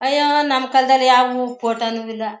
ಅಯ್ಯೋ ನಮ್ ಕಾಲದಲ್ಲಿ ಯಾವೂ ಫೋಟೋನೂ ಇಲ್ಲ.